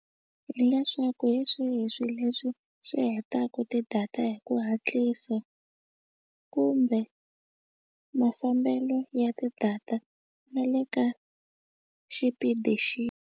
Hi leswaku hi swihi swilo leswi swi hetaka tidata hi ku hatlisa kumbe mafambelo ya ti-data na le ka xipidi xi.